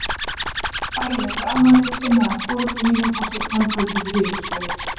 Daginn eftir afmælið sinnaðist foreldrum mínum og seinna um kvöldið rifust þau.